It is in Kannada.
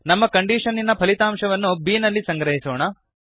ನಮ್ಮ ಕಂಡೀಷನ್ನಿನ ಫಲಿತಾಂಶವನ್ನು ಬಿ ನಲ್ಲಿ ಸಂಗ್ರಹಿಸೋಣ